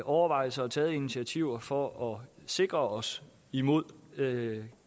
overvejelser og taget initiativer for at sikre os imod